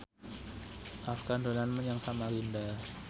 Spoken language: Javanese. Afgan dolan menyang Samarinda